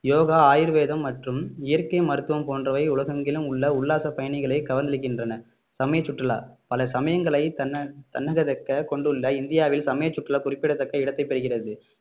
யோகா ஆயுர்வேதம் மற்றும் இயற்கை மருத்துவம் போன்றவை உலகெங்கிலும் உள்ள உல்லாச பயணிகளை கவர்ந்திழுக்கின்றன சமய சுற்றுலா பல சமயங்களை தன்ன~ தன்னகதக்க கொண்டுள்ள இந்தியாவில் சமயச்சுற்றுலா குறிப்பிடத்தக்க இடத்தை பெறுகிறது